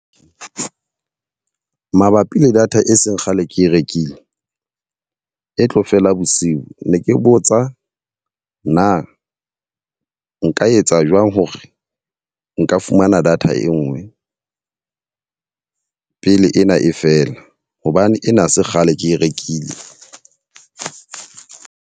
Mabapi le data e seng kgale ke e rekile e tlo fela bosiu. Ne ke botsa na nka etsa a jwang hore nka fumana data e nngwe pele ena e fela? Hobane ena ha se kgale ke e rekile.